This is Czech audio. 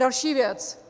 Další věc.